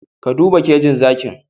Ka duba kejin zakin